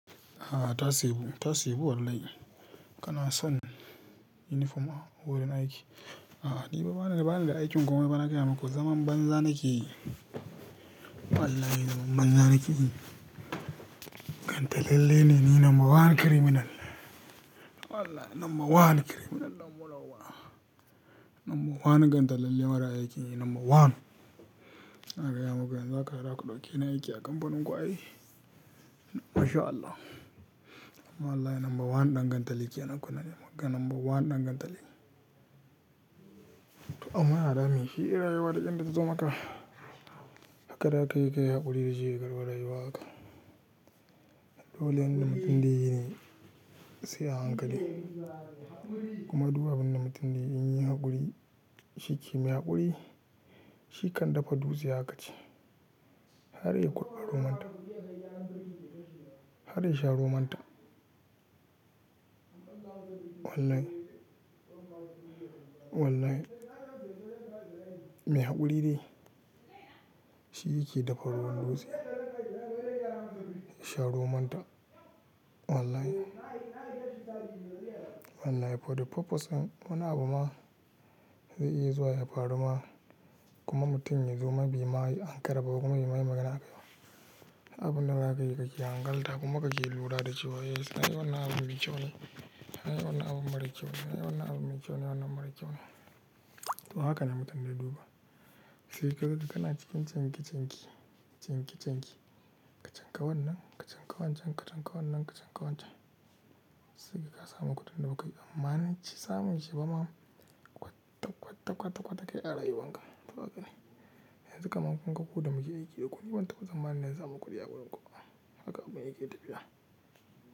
A'a tasebu, tasebu wallahi. Kana son uniform a wurin aiki? A'a ni bana, bana da aikin komai ba na gaya maku zaman banza na ke yi. Wallahi zaman banza na ke yi. Gantalalle ne ni number one criminal. Wallahi number one criminal ɗan burauba. Number one gantalalle mara aiki number one. Haka ya maku yanzu haka da haka ku ɗauke ni aiki a kamfanin ku ai. Mashallah. Wallahi number one ɗan gantali ke ana kuna yimanka number one ɗan gantali. To amma ya dami shi rayuwa duk yanda ta zo maka. Hakara kai kai haƙuri da jigiyar waye waƙa. Dole inda mutumdai sai a hankali kuma duka abin da mutumda yin yi haƙuri shi kimiyyar haƙuri shi kan dafa dutse hakaci. Har ya yi kurɓa romantan. Har ya sha romantan. Wallahi, wallahi mai haƙuri ne shi yake dafa ruwan dutse. Sha romantan wallahi. Wallahi for the purpose wani abu ma zai iya zuwa yafaruma kuma mutum ya zuma bai ma ankara kuma ya yi magana akai. Duk abu na zakai ka ke hankalta kuma ka ke lura da cewa yes na yi wannan abun mikiwo ne, na yi wannan abun mara kyau ne, na yi wannan abun me kyau ne wannan mara kyau ne. To haka ne mutumya duba. Sai kaga kana cikin cinki cinki, cinki cinki ka chanka wannan, ka chanka wancan, ka chanka wannan, ka chanka wancan. Sai ka samu kuɗin da ba ka yi tsammanin samun shi ba ma kwatta kwatta kwatta kwatta kai ara yu wanka. To haka ne. Yanzu kam an kunga ku da muke aiki da kun bantaɓa tsammanin yanzu a makudiya wurin kuwa haka abun yake tafiya.